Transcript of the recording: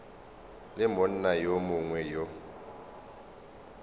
le monna yo mongwe yo